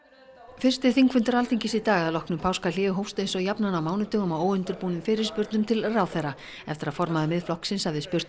fyrsti þingfundur Alþingis í dag að loknu páskahléi hófst eins og jafnan á mánudögum á óundirbúnum fyrirspurnum til ráðherra eftir að formaður Miðflokksins hafði spurt